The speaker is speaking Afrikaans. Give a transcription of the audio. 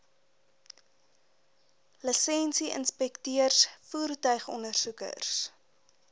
lisensie inspekteurs voertuigondersoekers